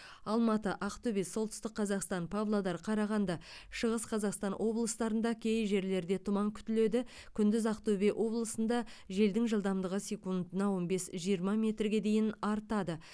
алматы ақтөбе солтүстік қазақстан павлодар қарағанды шығыс қазақстан облыстарында кей жерлерде тұман күтіледі күндіз ақтөбе облысында желдің жылдамдығы секундына он бес жиырма метрге дейін артады